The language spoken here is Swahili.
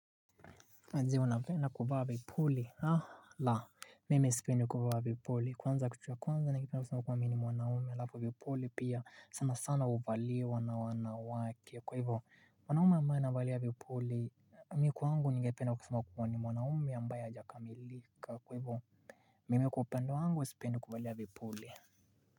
Unapenda kuvaa vipuli? Ha! La. Mimi sipendi kuvaa vipuli. Kwanza kitu ya kwanza ningependa kusema kuwa mimi ni mwanaume, alafu vipuli pia sana sana huvaliwa na wanawake. Kwa hivyo mwanaume ambaye anavalia vipuli, mimi kwangu ningependa kusema kuwa ni mwanaume ambaye hajakamilika. Kwa hivyo mimi kwa upande wangu sipendi kuvalia vipuli.